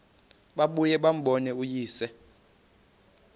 babuye bambone uyise